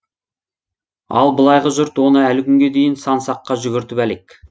ал былайғы жұрт оны әлі күнге дейін сан саққа жүгіртіп әлек